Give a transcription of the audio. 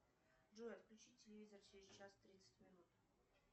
джой отключи телевизор через час тридцать минут